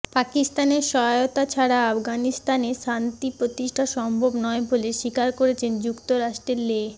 পাকিস্তানের সহায়তা ছাড়া আফগানিস্তানে শান্তি প্রতিষ্ঠা সম্ভব নয় বলে স্বীকার করেছেন যুক্তরাষ্ট্রের লে